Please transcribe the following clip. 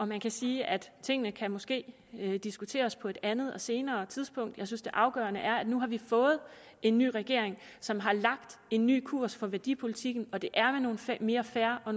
man kan sige at tingene måske kan diskuteres på et andet og senere tidspunkt jeg synes det afgørende er at nu har vi fået en ny regering som har lagt en ny kurs for værdipolitikken og det er nogle mere fair og